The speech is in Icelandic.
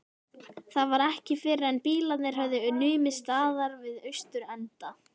Það var ekki fyrren bílarnir höfðu numið staðar við austurenda